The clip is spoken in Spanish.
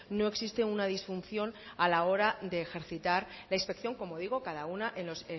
no existe una disfunción a la hora de ejercitar la inspección como digo cada una en los